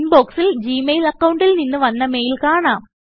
ഇൻബോക്സിൽ Gmail അക്കൌണ്ടിൽ നിന്ന് വന്ന മെയിൽ കാണാം